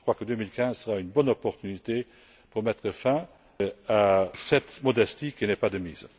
Je crois que 2015 sera une bonne opportunité pour mettre fin à cette modestie qui n'est pas de mise.